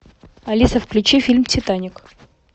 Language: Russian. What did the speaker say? алиса включи фильм титаник